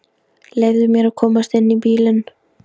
Leyfðu mér að komast inn í bílinn!